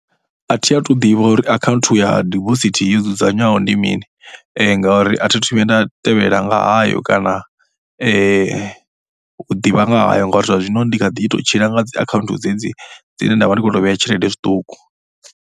A thi athu ḓivha uri akhaunthu ya deposit yo dzudzanywaho ndi mini ngauri a thi athu vhuya nda tevhela nga hayo kana u ḓivha nga hayo ngauri zwa zwino ndi kha ḓi tou tshila nga akhaunthu dzedzi dzine nda vha ndi khou tou vhea tshelede zwiṱuku.